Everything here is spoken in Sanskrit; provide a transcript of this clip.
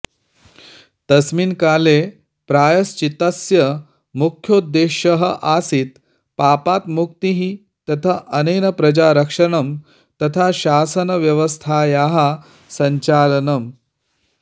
तस्मिन् काले प्रायश्चित्तस्य मुख्योद्देश्यः आसीत् पापात् मुक्तिः तथा अनेन प्रजारक्षणं तथा शासनव्यवस्थायाः सञ्चालनम्